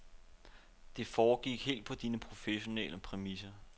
Det foregik helt på dine professionelle præmisser.